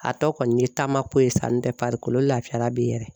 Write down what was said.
A tɔ kɔni ye taama ko ye sa n tɛ farikolo lafiya la bi yɛrɛ.